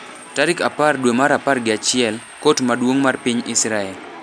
Tarik apar dwe mar apar gi achiel, Kot Maduong’ mar piny Israel